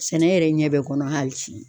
Sɛnɛ yɛrɛ ɲɛ bɛ kɔnɔ hali bi